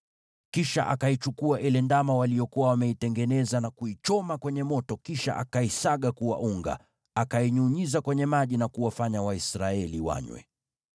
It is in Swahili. Kisha akamchukua yule ndama waliokuwa wamemtengeneza na kumchoma kwenye moto, kisha akamsaga kuwa unga, akanyunyiza kwenye maji na kuwafanya Waisraeli wanywe.